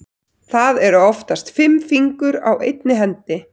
Það eru oftast fimm fingur á einni hendi.